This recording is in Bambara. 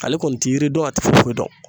Ale kɔni ti yiri dɔn a ti foyi foyi dɔn.